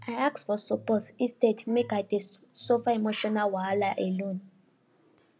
i ask for support instead make i dey suffer emotional wahala alone